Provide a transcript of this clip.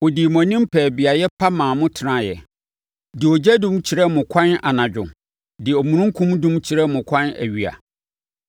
Ɔdii mo anim pɛɛ beaeɛ pa maa mo tenaeɛ, de ogyadum kyerɛɛ mo ɛkwan anadwo de omununkum dum kyerɛɛ mo ɛkwan awia.